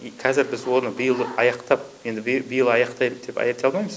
қазір біз оны биыл аяқтап енді биыл аяқтайды деп айта алмаймыз